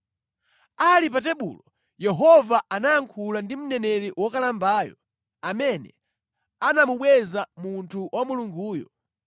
Ali pa tebulo, Yehova anayankhula ndi mneneri wokalambayo amene anamubweza munthu wa Mulunguyo.